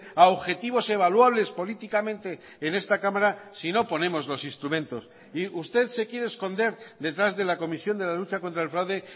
a objetivos evaluables políticamente en esta cámara si no ponemos los instrumentos y usted se quiere esconder detrás de la comisión de la lucha contra el fraude